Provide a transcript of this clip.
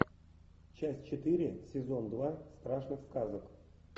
часть четыре сезон два страшных сказок